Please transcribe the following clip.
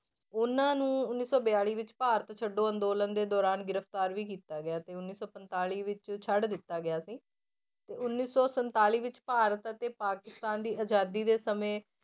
ਉਹਨਾਂ ਨੂੰ ਉੱਨੀ ਸੌ ਬਿਆਲੀ ਵਿੱਚ ਭਾਰਤ ਛੱਡੋ ਅੰਦੋਲਨ ਦੇ ਦੌਰਾਨ ਗ੍ਰਿਫ਼ਤਾਰ ਵੀ ਕੀਤਾ ਗਿਆ ਅਤੇ ਉੱਨੀ ਸੌ ਪੰਤਾਲੀ ਵਿੱਚ ਛੱਡ ਦਿੱਤਾ ਗਿਆ ਸੀ ਤੇ ਉੱਨੀ ਸੌ ਸੰਤਾਲੀ ਵਿੱਚ ਭਾਰਤ ਅਤੇ ਪਾਕਿਸਤਾਨ ਦੀ ਆਜ਼ਾਦੀ ਦੇ ਸਮੇਂ